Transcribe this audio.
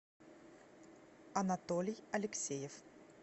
анатолий алексеев